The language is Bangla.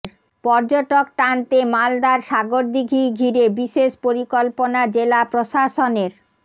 পর্যটক টানতে মালদার সাগরদিঘি ঘিরে বিশেষ পরিকল্পনা জেলা প্রশাসনের